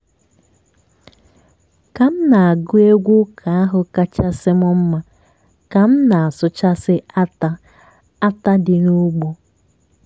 ka m na-agụ egwu ụka ahụ kachasị m mma ka m na-asụchasị átá átá dị n'ugbo.